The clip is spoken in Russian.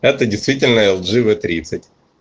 это действительно л джи в тридцать